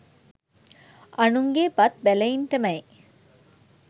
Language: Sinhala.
අනුන්ගේ බත් බැලයින්ටමැයි